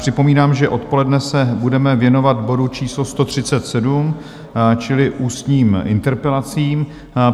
Připomínám, že odpoledne se budeme věnovat bodu číslo 137 čili ústním interpelacím.